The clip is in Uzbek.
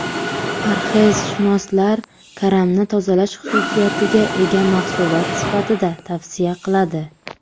Parhezshunoslar karamni tozalash xususiyatiga ega mahsulot sifatida tavsiya qiladi.